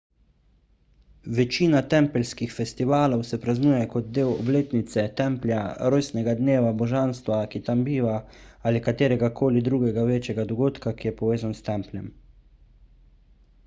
večina tempeljskih festivalov se praznuje kot del obletnice templja rojstnega dneva božanstva ki tam biva ali katerega koli drugega večjega dogodka ki je povezan s templjem